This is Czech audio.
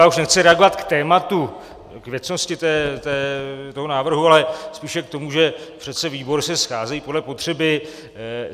Já už nechci reagovat k tématu, k věcnosti toho návrhu, ale spíše k tomu, že přece výbory se scházejí podle potřeby.